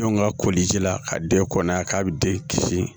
Don ka koliji la ka den kɔnna k'a bɛ den kisi